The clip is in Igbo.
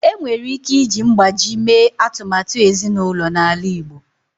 Enwere ike iji mgbájí mee atụmatụ ezinụlọ n'ala Igbo